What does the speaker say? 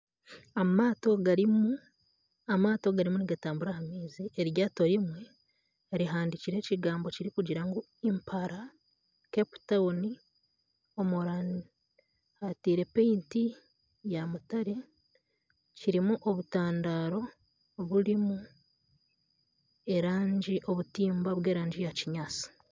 Amaato garimu nigatambura aha maizi, kandi eryato rimwe rihandikireho ekigambo kirikugira ngu impara Cape Town hataire erangi ya mutare harimu obutandaro oburimu obutimba bw'erangi ya kinyaatsi